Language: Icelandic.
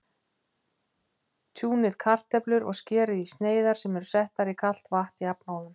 Tjúnið kartöflur og skerið í sneiðar sem eru settar í kalt vatn jafnóðum.